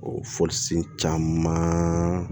O caman